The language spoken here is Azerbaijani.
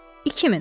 2000.